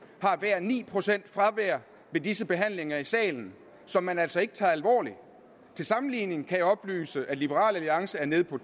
har hver et ni procent ved disse behandlinger i salen som man altså ikke tager alvorligt til sammenligning kan jeg oplyse at liberal alliance er nede på